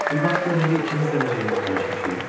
Bir bax gör indi ikimiz də necə yüngülləşmişik.